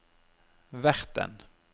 verten